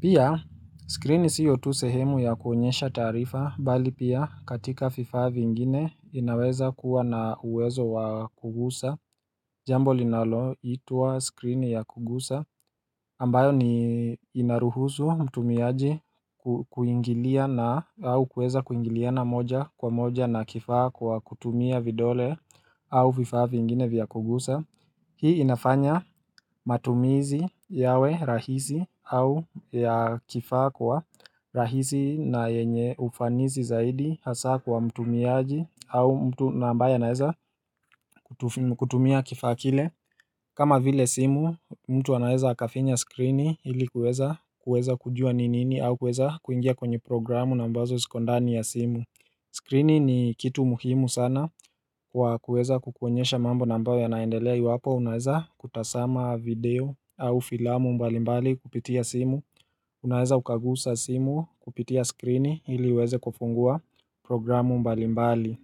Pia skrini sio tu sehemu ya kuonyesha taarifa Bali pia katika vifaa vingine inaweza kuwa na uwezo wa kugusa Jambo linaloitwa skrini ya kugusa ambayo ni inaruhusu mtumiaji kuingilia na au kuweza kuingilia na moja kwa moja na kifaa kwa kutumia vidole au vifaa vingine vya kugusa Hii inafanya matumizi yawe rahisi au ya kifaa kwa rahisi na yenye ufanizi zaidi hasaa kwa mtumiaji au mtu na ambaya anaeza kutumia kifaa kile kama vile simu, mtu anaweza akafinya skrini hili kuweza kujua ni nini au kuweza kuingia kwenye programu na ambazo ziko ndani ya simu skrini ni kitu muhimu sana kwa kuweza kukuonyesha mambo na ambayo yanaendelea iwapo unaweza kutazama video au filamu mbalimbali kupitia simu Unaweza ukaguza simu kupitia skrini ili uweze kufungua programu mbalimbali.